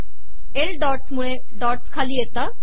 L dots मुळे dots खाली येतात